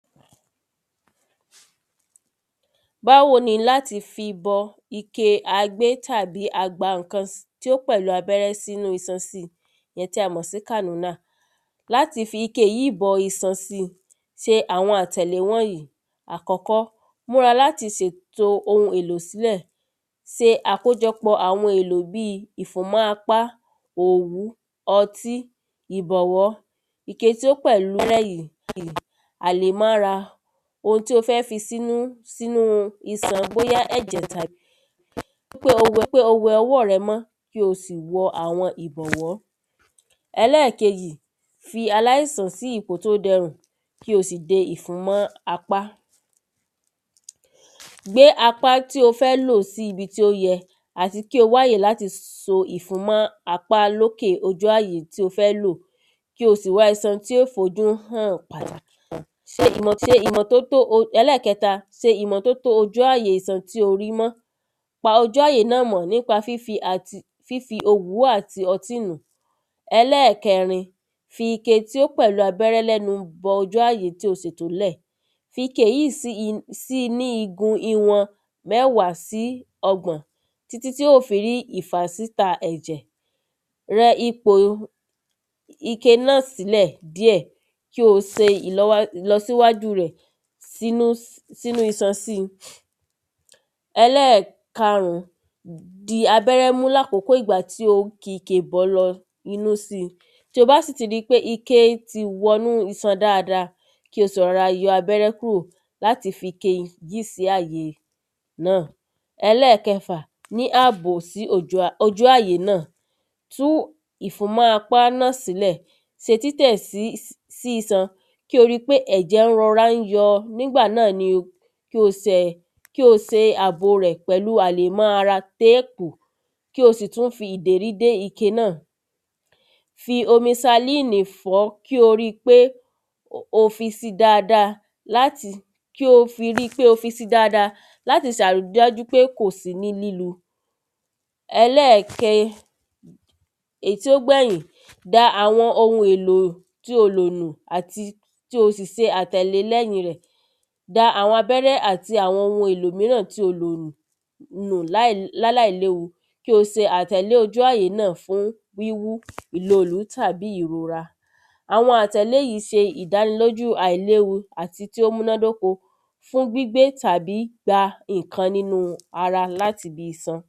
báwo ni láti fi bọ ike agbé tàbí a gba ǹkan tí ó pẹ̀lú abẹ́rẹ́ sínúu ìsan si èyí tí a mọ̀ sí kàmínà? láti fi ike yíì bọ isan si, se àwon àtẹ̀lé wọ̀n yí; àkọ́kọ́, múra láti sètò ohun èlò sílẹ̀. se àkójọpọ̀ àwọn ohun èlò bíi; ìfòmọ́ apá, òwú, ọtí, ìbọ̀wọ́, ike tí ó pẹ̀lú, àlámọ́ra, ohun tí o fẹ́ fi sínú sínúu isan, bóyá ẹ̀jẹ̀ tàbí, rí pé, rí pé o wẹ ọwọ́ rẹ mọ́, kí o sì wọ àwọn ìbọ̀wọ́ ẹlẹ́kejì fi aláìsàn sí ipò tí ó dẹrùn kí o sì de ìfun mọ́ apá. gbé apá tí o fẹ́ lò sí ibi tí ó yẹ, àti kí o wáyè láti so ìfun mọ́ apá lókè ojú àyè tí o fẹ́ lò, kí o sì wá isan tí ó fojú hàn. se ìmọ́, se ìmọ́tótó o. ẹlẹ́kẹta, se ìmọ́tótó ojú àyè isan tí o ri mọ́. pa ojú àyè náà mọ́ nípa fífi àti, fífi òwú àti ọti nùn ún. ẹlẹ́ẹ̀kẹrin, fi ike tí o pẹ̀lú abẹ́rẹ́ lẹ́nu bọ ojú àyè tó o ṣètò ń lẹ̀, fi ike yíì si, sì ní igun ìwọn mẹ́ẹ̀wá sí ọgbọ̀n, títí tí ó fi rí ìfàsíta ẹ̀jẹ̀, rẹ ipòo ike náà sílẹ̀ díẹ̀ kí o se ìlọ wá ìlọ sí wájú rẹ̀, sí nú sí nú isan si. ẹlẹ́ẹ̀karún, di abẹ́rẹ́ mú làkókò ìgbà tí o ki ike bọ̀ọ́ lọ inú si, tí o bá sì ti rí pé iké ti wọ inú isan dáada, kí o sì rọra yọ abẹ́rẹ́ kúrò láti fike yíì sí àyè náà. ẹlẹ́kẹfà, ní àbò sí ójò à ojú àyè náà, tú ìfúnmọ́ apá náà sí lẹ̀. se títẹ̀ sí sí isan kí o rí pé ẹ̀jẹ̀ rora ń yọo, nígbà náà ni kí o sè kí o se àbò rẹ̀ pẹ̀lú àlémọ́ ara téèkó. kí o sì tún fi ìdérí dé ike náà, fi omi salínì fọ̀ ọ́, kí o ri pé o fi si dáada láti kí o fi ri pé o fí si dáada láti ṣàrí dájú pé kò sí ní lílu. ẹlẹ́ke, èyí tó gbẹ̀yìn, da àwọn ohun èlò tí o lò nù, àti kí o sì ṣàtẹ̀lé lẹ́yìn rẹ̀. da àwọn abẹ́rẹ́ àti àwọn ohun èlò míràn tí o lo nù nù láì láláìléwu kí o se àtẹ̀lé ojú àyè náà fún wíwú, ìloòlú, tàbí ìrora. àwọn àtẹ̀lé yìí se ìdánilójú àìléwu àti tí ó múnádóko fún gbígbé tàbí gígba ǹkan nínú ara láti ibi isan.